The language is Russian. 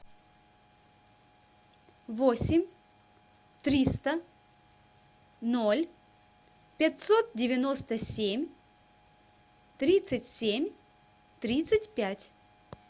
восемь триста ноль пятьсот девяносто семь тридцать семь тридцать пять